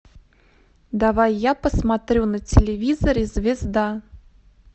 давай я посмотрю на телевизоре звезда